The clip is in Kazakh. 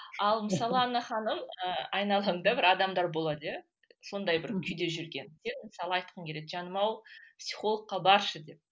ал мысалы анна ханым ы айналаңда бір адамдар болады иә сондай бір күйде жүрген иә мысалы айтқың келеді жаным ау психологқа баршы деп